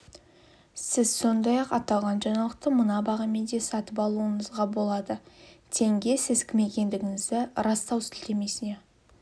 сіз сондай-ақ аталған жаңалықты мына бағамен де сатып алуыңызға болады тенге сіз кім екендігіңізді растау сілтемесіне